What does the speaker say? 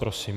Prosím.